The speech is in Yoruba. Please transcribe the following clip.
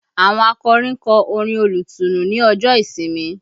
Àwọn akọrin kọ orin olùtùnú ní ọjọ́ ìsinmi